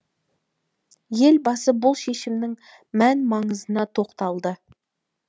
елбасы бұл шешімнің мән маңызына тоқталды